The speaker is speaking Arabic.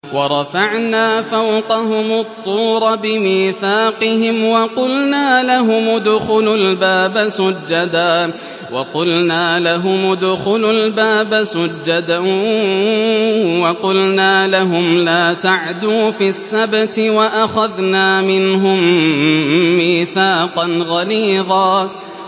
وَرَفَعْنَا فَوْقَهُمُ الطُّورَ بِمِيثَاقِهِمْ وَقُلْنَا لَهُمُ ادْخُلُوا الْبَابَ سُجَّدًا وَقُلْنَا لَهُمْ لَا تَعْدُوا فِي السَّبْتِ وَأَخَذْنَا مِنْهُم مِّيثَاقًا غَلِيظًا